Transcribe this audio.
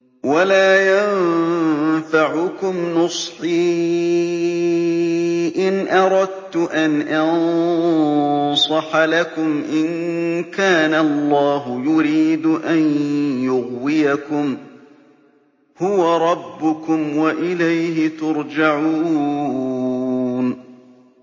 وَلَا يَنفَعُكُمْ نُصْحِي إِنْ أَرَدتُّ أَنْ أَنصَحَ لَكُمْ إِن كَانَ اللَّهُ يُرِيدُ أَن يُغْوِيَكُمْ ۚ هُوَ رَبُّكُمْ وَإِلَيْهِ تُرْجَعُونَ